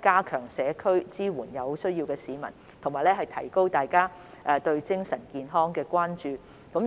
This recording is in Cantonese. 加強於社區支援有需要的市民，並提高大家對精神健康的關注。